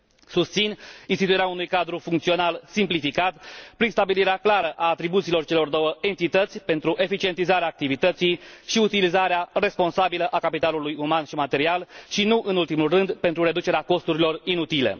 Susțin instituirea unui cadru funcțional simplificat, prin stabilirea clară a atribuțiilor celor două entități pentru eficientizarea activității și utilizarea responsabilă a capitalului uman și material și, nu în ultimul rând, pentru reducerea costurilor inutile.